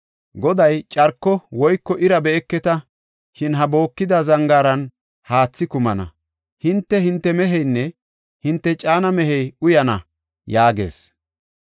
Goday, ‘Carko woyko ira be7eketa, shin ha bookida zangaaran haathi kumana; hinte, hinte meheynne hinte caana mehey uyana’ yaagees.